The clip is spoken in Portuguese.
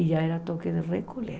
E já era toque de recolher.